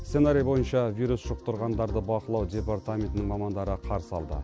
сценарий бойынша вирус жұқтырғандарды бақылау департаментінің мамандары қарсы алды